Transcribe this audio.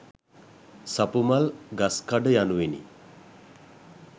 සපුමල් ගස්කඩ යනුවෙනි.